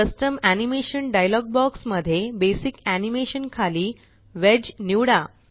custom animation dialog box मध्ये basic Animationखाली wedge निवडा